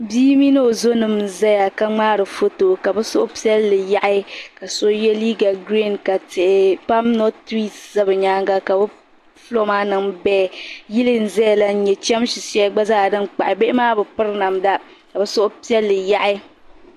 Bii mini o zonima n zaya ka ŋmaari foto ka bɛ suhupiɛlli yaɣi ka so ye liiga giriin ka tihi pam noti tiriisi za bɛ nyaaŋa ka bɛ fuloo maa niŋ big yili n zaya la n nya chamsi shɛli gba zaa din kpahi bihi maa bi piri namda ka bɛ suhupiɛlli yahi.